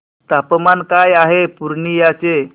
तापमान काय आहे पूर्णिया चे